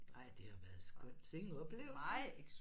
Ej det har været skønt sikke en oplevelse